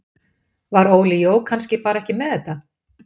Var Óli Jó kannski bara ekki með þetta?